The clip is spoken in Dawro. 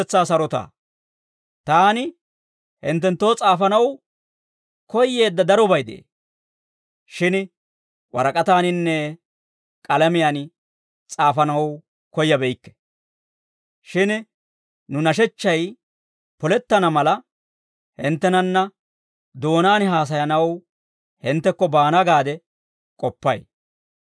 Taani hinttenttoo s'aafanaw koyyeedda darobay de'ee; shin warak'ataaninne k'alamiyaan s'aafanaw koyyabeykke; shin nu nashechchay polettana mala, hinttenanna doonaan haasayanaw hinttekko baana gaade k'oppay.